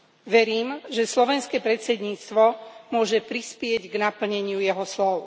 Verím, že slovenské predsedníctvo môže prispieť k naplneniu jeho slov.